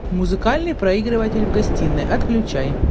музыкальный проигрыватель в гостиной отключай